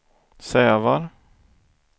Sävar